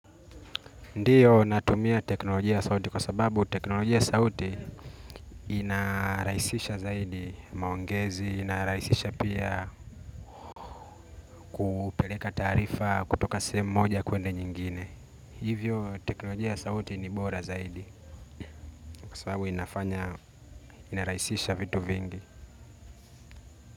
Ndiyo natumia teknolojia sauti kwa sababu teknolojia sauti inarahisisha zaidi maongezi, inarahisisha pia peleka taarifa kutoka sehemu moja kwenda nyingine. Hivyo teknolojia sauti ni bora zaidi kwa sababu inarahisisha vitu vingi.